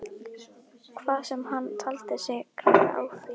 Hvað sem hann taldi sig græða á því.